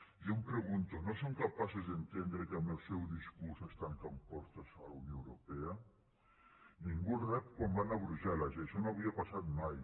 jo em pregunto no són capaços d’entendre que amb el seu discurs es tanquen portes a la unió europea ningú els rep quan van a brussel·les i això no havia passat mai